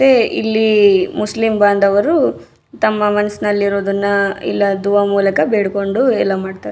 ಮತ್ತೆ ಇಲ್ಲಿ ಮುಸ್ಲಿಂ ಬಾಂದವರು ತಮ್ಮ ಮನಸ್ನಲ್ಲಿ ಇರೋದನ್ನ ದುವಾ ಮೂಲಕ ಬೇಡ್ಕೊಂಡು ಎಲ್ಲ ಮಾಡ್ತಾರೆ.